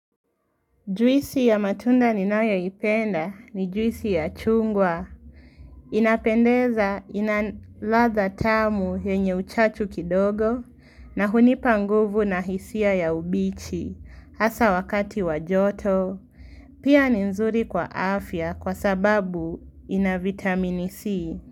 Jwisi ya matunda ninayoipenda ni jwisi ya chungwa. Inapendeza ina ladha tamu yenye uchachu kidogo na hunipa nguvu na hisia ya ubichi hasa wakati wajoto. Pia ni nzuri kwa afya kwa sababu ina vitamini C.